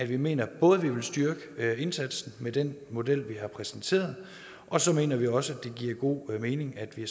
vi mener både at vi vil styrke indsatsen med den model vi har præsenteret og så mener vi også at det giver god mening at vi